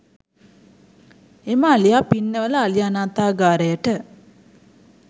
එම අලියා පින්නවල අලි අනාථාගාරයට